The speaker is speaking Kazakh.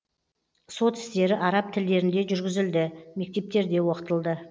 сот істері араб тілдерінде жүргізілді мектептерде оқытылды